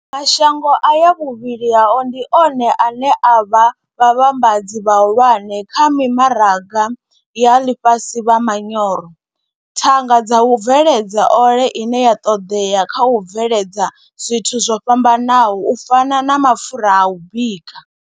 Mashango aya vhuvhili hao ndi one ane a vha vhavhambadzi vhahulwane kha mimaraga ya ḽifhasi vha manyoro, thanga dza u bveledza ole ine ya ṱoḓea kha u bveledza zwithu zwo fhambanaho u fana na mapfura a u bika.